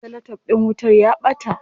Cellotef din wutar ya ɓata.